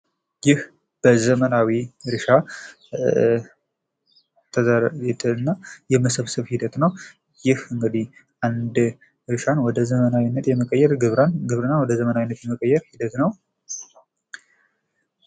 ይህ በዘመናዊ እርሻ የመሰብሰብ ሂደት ነው ይህ እንግዲህ አንድ እርሻን ወደ ዘመናዊነት የመቀየር ግብርናን ወደ ዘመናዊነት የመቀየር ውጤት ነው ።